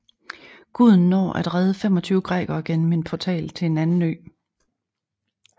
Guden når at redde 25 grækere gennem en portal til en anden ø